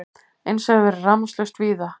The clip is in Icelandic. Eins hefur verið rafmagnslaust víða